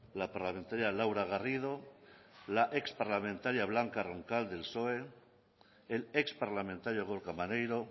la parlamentaria laura garrido la exparlamentaria blanca roncal del psoe el exparlamentario gorka maneiro